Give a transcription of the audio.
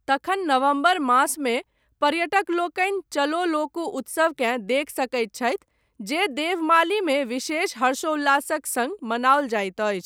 तखन नवम्बर मासमे पर्यटक लोकनि चलो लोकू उत्सवकेँ देखि सकैत छथि जे देवमालीमे विशेष हर्षोल्लासक सङ्ग मनाओल जाइत अछि।